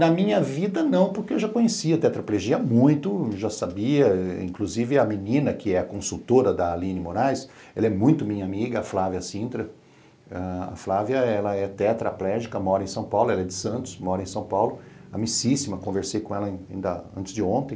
Na minha vida não, porque eu já conhecia a tetraplegia muito, já sabia, inclusive a menina que é consultora da Aline Moraes, ela é muito minha amiga, a Flávia Sintra, a Flávia ela é tetraplégica, mora em São Paulo, ela é de Santos, mora em São Paulo, amicíssima, conversei com ela antes de ontem,